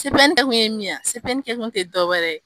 kɛ kun ye min ye a, kɛ kun te dɔwɛrɛ ye